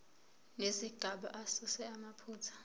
nezigaba asuse amaphutha